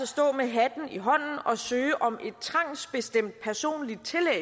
stå med hatten i hånden og søge om et trangsbestemt personligt tillæg